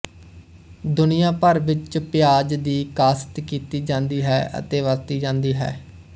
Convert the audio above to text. ਦੁਨੀਆ ਭਰ ਵਿੱਚ ਪਿਆਜ਼ ਦੀ ਕਾਸ਼ਤ ਕੀਤੀ ਜਾਂਦੀ ਹੈ ਅਤੇ ਵਰਤੀ ਜਾਂਦੀ ਹੈ